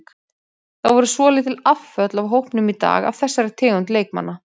Það voru svolítil afföll af hópnum í dag af þessari tegund leikmanna.